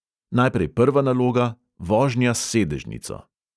Najprej prva naloga, vožnja s sedežnico.